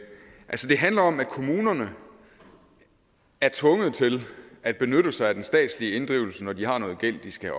handler om at kommunerne er tvunget til at benytte sig af den statslige inddrivelse når de har noget gæld de skal